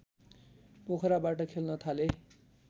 पोखराबाट खेल्न थाले